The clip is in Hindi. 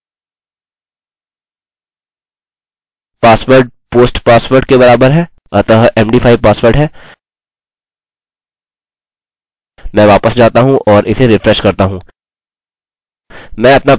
इसे जाँचते हैंpassword post password के बराबर है अतः md5 पासवर्ड है मैं वापस जाता हूँ और इसे रिफ्रेश करता हूँ